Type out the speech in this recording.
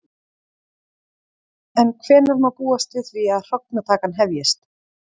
En hvenær má búast við því að hrognatakan hefjist?